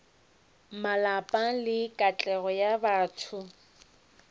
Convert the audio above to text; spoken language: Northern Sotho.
malapa le katlego ya batho